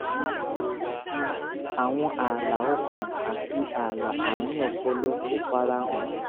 àwọn ààlà ọkàn àti ààlà àárín ọpọlọ kò fara hàn